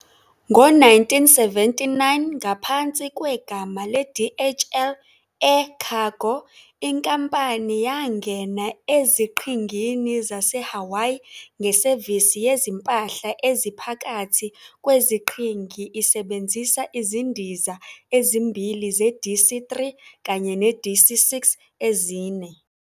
Ngo-1979, ngaphansi kwegama le-DHL Air Cargo, inkampani yangena eziqhingini zaseHawaii ngesevisi yezimpahla eziphakathi kweziqhingi isebenzisa izindiza ezimbili ze-DC-3 kanye ne-DC-6 ezine.